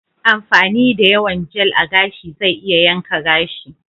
Amfani da yawan Jel a gashi zai iya yanka shi.